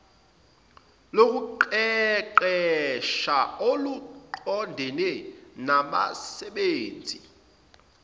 lokuqeqesha oluqondene nabasebenzi